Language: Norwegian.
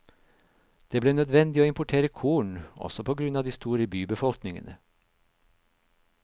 Det ble nødvendig å importere korn, også på grunn av de store bybefolkningene.